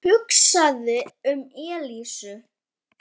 Hann hugsaði um Elísu.